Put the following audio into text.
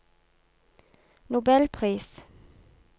nobelpris